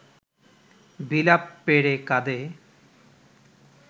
বিলাপ পেড়ে কাঁদে